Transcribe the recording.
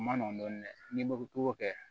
O ma nɔgɔn dɔɔnin dɛ n'i ma togo kɛ